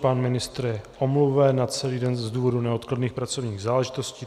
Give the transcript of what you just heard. Pan ministr je omluven na celý den z důvodu neodkladných pracovních záležitostí.